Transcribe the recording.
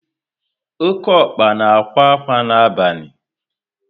Oké ọkpa na ákwà ákwà na abalị